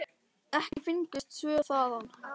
Ekki fengust svör þaðan.